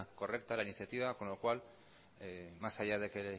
correcta la iniciativa con lo cual más allá de que